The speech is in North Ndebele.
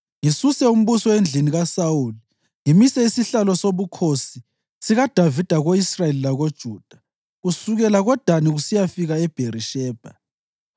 ngisuse umbuso endlini kaSawuli ngimise isihlalo sobukhosi sikaDavida ko-Israyeli lakoJuda kusukela koDani kusiyafika eBherishebha.”